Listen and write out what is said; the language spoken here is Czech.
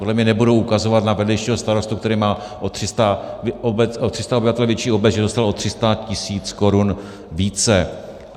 Podle mě nebudou ukazovat na vedlejšího starostu, který má o 300 obyvatel větší obec, že dostal o 300 tisíc korun více.